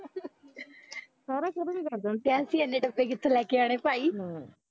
ਕਹਿ ਅਸੀਂ ਏਨੇ ਡੱਬੇ ਕਿਥੋਂ ਲੈ ਕੇ ਆਨੇ ਭਾਈ